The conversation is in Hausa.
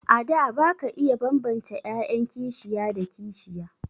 A da ba ka iya bambance 'ya'yan kishiya da kishiya.